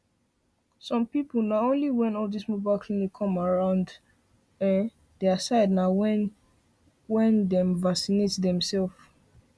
some people na only when all this mobile clinic come around ehnn their side na when dem vacinate dem self